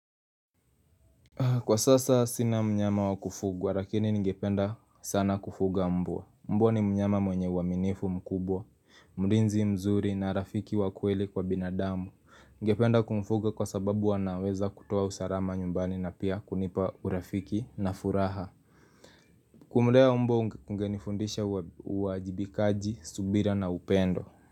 Kwa sasa sina mnyama wa kufuga, lakini ningependa sana kufuga mbwa. Mbwa ni mnyama mwenye uaminifu mkubwa, mlinzi mzuri na rafiki wa kweli kwa binadamu. Ningependa kumfuga kwa sababu wanaweza kutoa usalama nyumbani na pia kunipa urafiki na furaha. Kumlea mbwa kungenifundisha uajibikaji, subira na upendo.